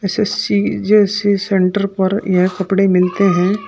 SSC जैसे centre पर यह कपड़े मिलते हैं।